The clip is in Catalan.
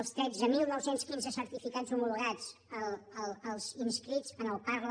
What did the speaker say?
els tretze mil nou cents i quinze certificats homologats els inscrits en el parla